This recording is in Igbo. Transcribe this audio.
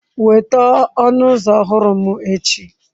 Weta ọnụ ụzọ ọhụrụ m echi.